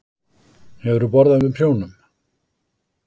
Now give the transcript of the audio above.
Hefurðu borðað með prjónum?